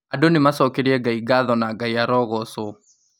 Andū nīmacokerie Ngai ngatho na Ngai arõgõcwõ